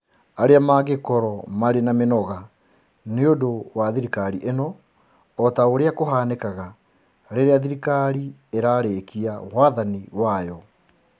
arĩa mangĩkorũo marĩ na mĩnoga nĩ ũndũ wa thirikari ĩno, o ta ũrĩa kũhanĩkaga rĩrĩa thirikari ĩrarĩkia wathani wagwo.